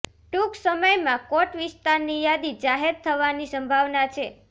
ટૂંક સમયમાં કોટ વિસ્તારની યાદી જાહેર થવાની સંભાવના છે